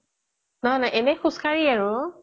নহয় নহয় এনেই খোজকাঢ়ি আৰু